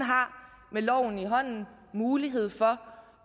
har med loven i hånden mulighed for